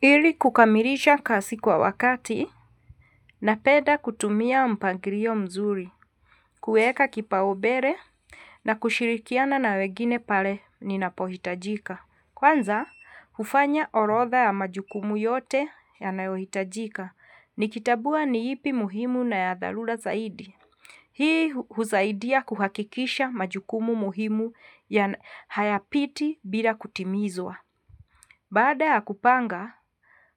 Ili kukamilisha kazi kwa wakati napenda kutumia mpangilio mzuri, kueka kipaombele na kushirikiana na wengini pale ninapohitajika. Kwanza, hufanya orodha ya majukumu yote yanayohitajika. Nikitambua ni ipi muhimu na ya dharura zaidi. Hii husaidia kuhakikisha majukumu muhimu hayapiti bila kutimizwa. Baada ya kupanga,